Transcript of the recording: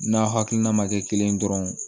N'a hakilina ma kɛ kelen ye dɔrɔn